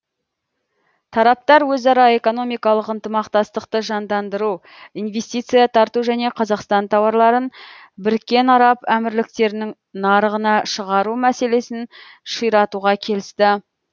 тараптар өзара экономикалық ынтымақтастықты жандандыру инвестиция тарту және қазақстан тауарларын біріккен араб әмірліктерінің нарығына шығару мәселесін ширатуға келісті